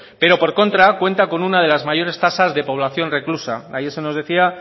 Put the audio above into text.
pero por contra cuenta con una de las mayores tasas de población reclusa ayer se nos decía